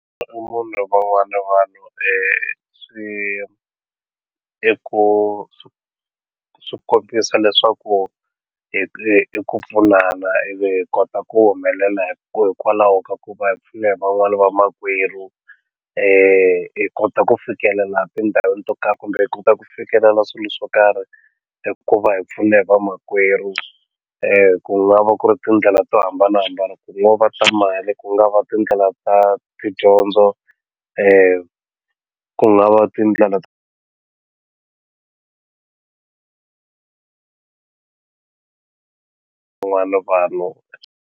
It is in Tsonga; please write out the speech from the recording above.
Van'wani vanhu swi i ku swi kombisa leswaku i ku pfunana ivi hi kota ku humelela hi ku hikwalaho ka ku va hi pfune hi van'wani vamakwerhu hi kota ku fikelela tindhawini to karhi kumbe hi kota ku fikelela swilo swo karhi hi ku va hi pfune hi vamakwerhu ku nga va ku ri tindlela to hambanahambana ku ngo va ta mali ku nga va tindlela ta tidyondzo ku nga va tindlela tivan'wani vanhu.